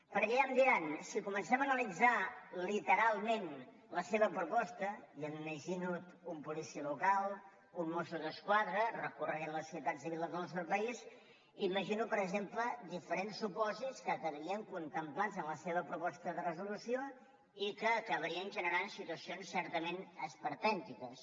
perquè ja em diran si comencem a analitzar literalment la seva proposta jo m’imagino un policia local un mosso d’esquadra recorrent les ciutats i viles del nostre país imagino per exemple diferents supòsits que quedarien contemplats en la seva proposta de resolució i que acabarien generant situacions certament esperpèntiques